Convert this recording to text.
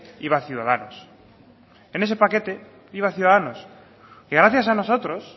iba ciudadanos en ese paquete iba ciudadanos y gracias a nosotros